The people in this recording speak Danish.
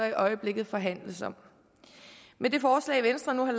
i øjeblikket forhandles om med det forslag venstre nu har